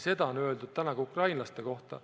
Seda on öeldud ka ukrainlaste kohta.